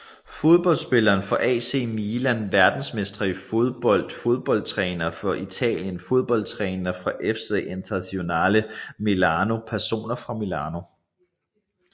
Fodboldspillere fra AC Milan Verdensmestre i fodbold Fodboldtrænere fra Italien Fodboldtrænere fra FC Internazionale Milano Personer fra Milano